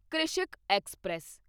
Krishak express